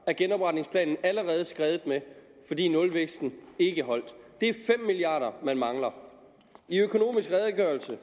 er genopretningsplanen allerede skredet med fordi nulvæksten ikke holdt det er fem milliard kr man mangler i økonomisk redegørelse